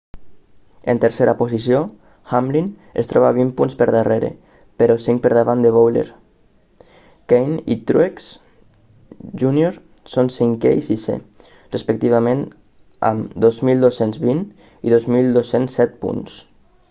en tercera posició hamlin es troba vint punts per darrere però cinc per davant de bowyer kahne i truex jr són cinquè i sisè respectivament amb 2.220 i 2.207 punts